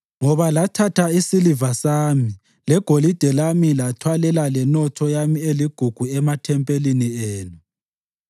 Ngoba lathatha isiliva sami legolide lami lathwalela lenotho yami eligugu emathempelini enu.